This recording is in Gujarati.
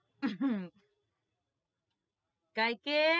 અ હ ગાયત્રી